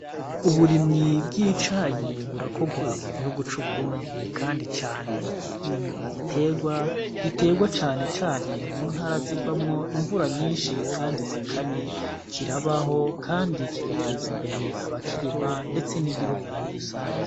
Uburimyi bw'icayi burakorwa mu gihugu c'uburundi kandicane ni igiterwa igiterwa canecane muntu arazigwamwo imvura nyinshi, kandi zikanye kirabaho, kandi kigateza imbere abakirima, ndetse n'igihugu muri rusange.